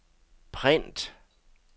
print